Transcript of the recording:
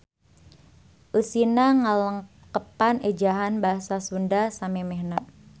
Eusina ngalengkepan ejahan basa Sunda samemehna.